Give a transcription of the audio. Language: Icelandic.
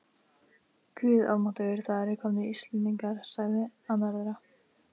Guð almáttugur, það eru komnir Íslendingar, sagði annar þeirra.